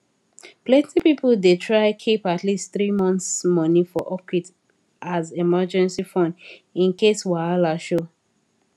plenty people dey try keep at least three months money for upkeep as emergency fund in case wahala show